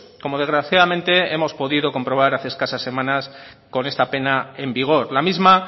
como desgraciadamente hemos podido comprobar hace escasas semanas con esta pena en vigor la misma